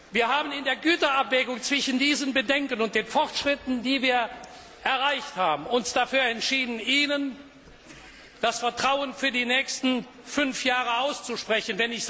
Wir haben uns in der Güterabwägung zwischen diesen Bedenken und den Fortschritten, die wir erreicht haben, dafür entschieden, Ihnen das Vertrauen für die nächsten fünf Jahre auszusprechen.